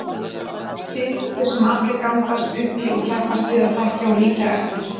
Fyrirmyndir sem allir gangast upp í og keppast við að þekkja og líkja eftir.